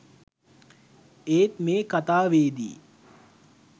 ඒත් මේ කතාවේදී